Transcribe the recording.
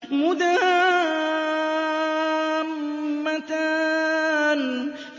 مُدْهَامَّتَانِ